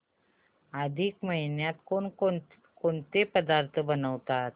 अधिक महिन्यात कोणते पदार्थ बनवतात